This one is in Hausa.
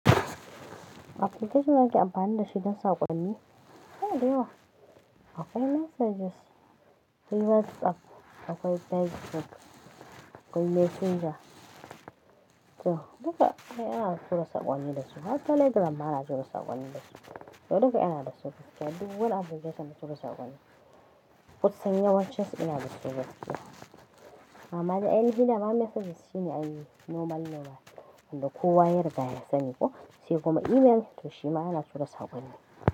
Application ake amfani da shi don saƙonni? A'a daiwa. Akwai messages, akwai WhatsApp, akwai Facebook, akwai Messenger. To duka ai ina tura saƙonni da su. Hat Telegram ma ana tura saƙonni da shi. To duka anayi da su. Duk wani application suna tura saƙonni. Kusan yawancen su ina da su gaskiya. Amma dai ainiha dama messages shine ainihi normal normal, kowa yariga ya sani ko, sai kuma email to shi ma yana tura saƙonni.